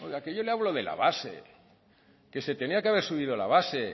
oiga que yo le hablo de la base que se tenía que haber subido la base